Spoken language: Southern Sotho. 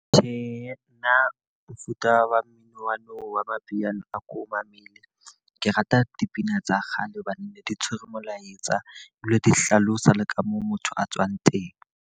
Tjhe, nna mofuta wa mmino wa nou wa mapiano, a ko mamele. Ke rata dipina tsa kgale hobane ne di tshwere molaetsa, di bi le di hlalosa le ka moo motho a tswang teng.